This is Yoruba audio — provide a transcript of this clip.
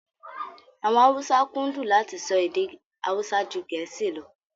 Àwọn Haúsá kúndùn láti sọ èdè Haúsá ju Gẹ̀ẹ́sì lọ